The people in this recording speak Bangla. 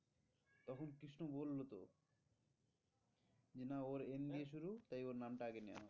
যে না ওর N দিয়ে শুরু তাই ওর নামটা আগে নেওয়া হোক।